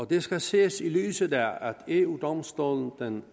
det skal ses i lyset af at eu domstolen den